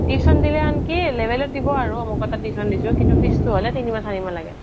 tuition দিলে আনকি লেবেলত দিব আৰু অমুকৰ তাত tuition দিছো কিন্তু fees টো হলে তিনি মাহ চাৰি মাহ লাগে